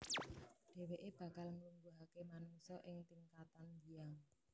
Dhèwèké bakal nglungguhaké manungsa ing tingkatan Hyang